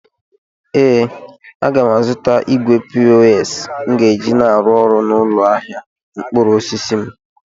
Ee, aga m azụta igwe pos m ga-eji na-arụ ọrụ n'ụlọ ahịa mkpụrụ osisi m.